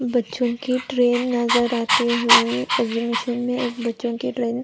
बच्चो की ट्रैन नज़र आती हुए एक्सहिबिशन में एक बच्चो की ट्रैन --